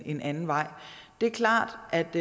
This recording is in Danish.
en anden vej det er klart at